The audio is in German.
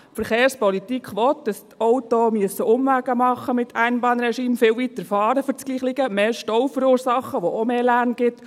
Die Verkehrspolitik will, dass die Autos mit Einbahnregime Umwege machen müssen, für dasselbe viel weiter fahren müssen, mehr Stau verursachen, was auch mehr Lärm gibt.